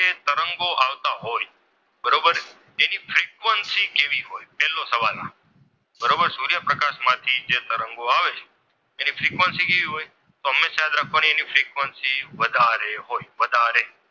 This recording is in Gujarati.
તરંગો આવતા હોય બરોબર એની ફિકવન્સી કેવી હોય પેલો સવાલ, આ બરોબર સૂર્યપ્રકાશ માંથી જે તરંગો આવે છે તેને ફ્રીક્વન્સી કેવી હોય તો હંમેશા યાદ રાખવાનું તેની ફ્રિકવન્સી વધારે હોય વધારે.